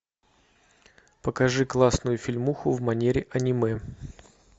покажи классную фильмуху в манере аниме